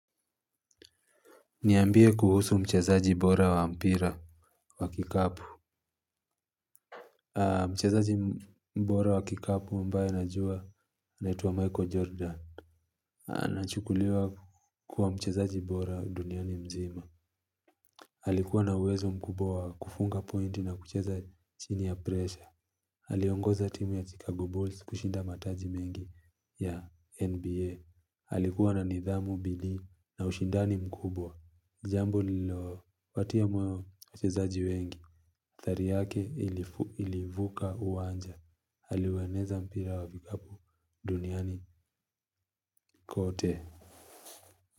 Niambie kuhusu mchazaji bora wa mpira wa kikapu. Mchazaji bora wa kikapu ambaye najua anaitwa Michael Jordan. Anachukuliwa kukuwa mchazaji bora duniani mzima alikuwa na uwezo mkubwa wa kufunga pointi na kucheza chini ya presha aliongoza timu ya Chicago Bulls kushinda mataji mengi ya NBA alikuwa na nidhamu bidii na ushindani mkubwa. Jambo lilo patia moyo wachezaji wengi. Thari yake ilivuka uwanja aliuweneza mpira wa vikapu duniani kote.